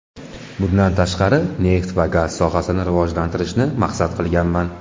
Bundan tashqari neft va gaz sohasini rivojlantirishni maqsad qilganman.